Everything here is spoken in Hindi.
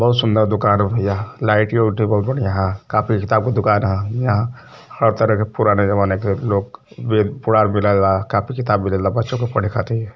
बहुत सुंदर दुकान है भैया लाइटियों वाईटो बहुत बढ़िया ह। कॉपी किताब की दुकान है। यहाँ हर तरह के पुराने जमाने के लोग वेद पुराण मिलेला। कापी किताब मिलेला बच्चों को पढे खातिर --